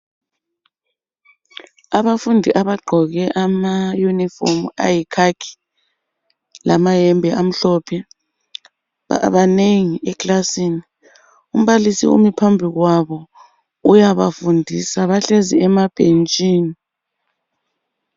Abafundi abagqoke ama uniform ayi khakhi lama hembe amhlophe banengi eklasini. Umbalisi umi phambi kwabo uyabafundisa bahlezi ema bhentshini.